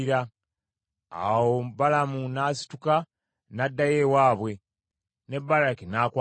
Awo Balamu n’asituka n’addayo ewaabwe, ne Balaki n’akwata agage.